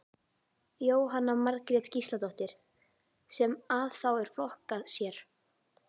Jóhanna Margrét Gísladóttir: Sem að þá er flokkað sér?